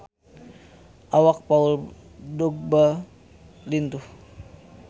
Awak Paul Dogba lintuh